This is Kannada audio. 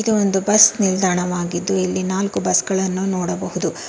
ಇದು ಒಂದು ಬಸ್ ನಿಲ್ದಾಣವಾಗಿದ್ದು ಇಲ್ಲಿ ನಾಲ್ಕು ಬಸ್ ಗಳನ್ನು ನೋಡಬಹುದು.